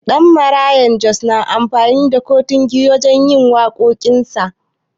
Danmaraya Jos na amfani da kontigi wajen yin waƙoƙin sa.